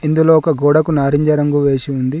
ఇందులో ఒక గోడకు నారింజ రంగు వేసి ఉంది.